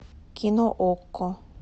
кино окко